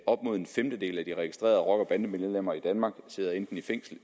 op mod en femtedel af de registrerede rocker og bandemedlemmer i danmark sidder enten i fængsel